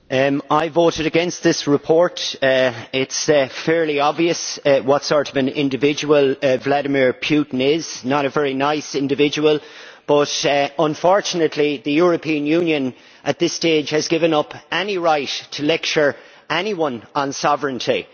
Mr President, I voted against this report. It is fairly obvious what sort of an individual Vladimir Putin is not a very nice individual but, unfortunately, the European Union at this stage has given up any right to lecture anyone on sovereignty.